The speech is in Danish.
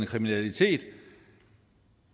kriminalitet